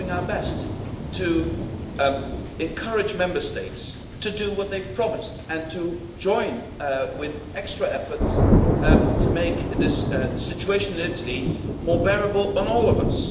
We are doing our best to encourage Member States to do what they have promised and to join with extra efforts to make this situation in Italy more bearable on all of us.